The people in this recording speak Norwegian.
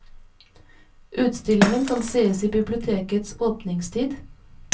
Utstillingen kan sees i bibliotekets åpningstid.